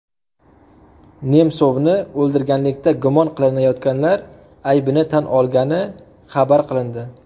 Nemsovni o‘ldirganlikda gumon qilinayotganlar aybini tan olgani xabar qilindi.